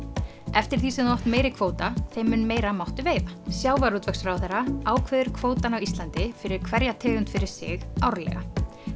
eftir því sem þú átt meiri kvóta þeim mun meira máttu veiða sjávarútvegsráðherra ákveður kvótann á Íslandi fyrir hverja tegund fyrir sig árlega